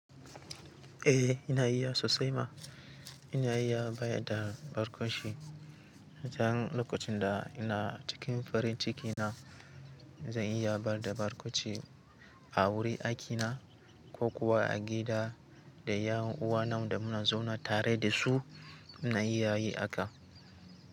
Eh ina iya sosai ma, ina iya bayar da barkwanci. Dan lokacin da ina cikin farin ciki na, zan iya bayar da barkwanci a wurin aikina ko kuwa a gida da yanuwa na wanda muna zaune tare da su. Ina iya yi haka.